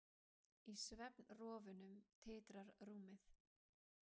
Í svefnrofunum titrar rúmið.